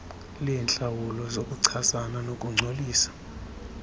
leentlawulo zokuchasana nokungcolisa